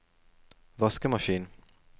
vaskemaskin